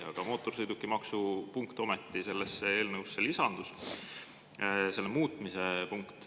Aga mootorsõidukimaksu muutmise punkt ometi sellesse eelnõusse lisandus.